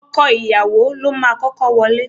Ọkọ ìyàwó ni ó máa kọ́kọ́ wọlé.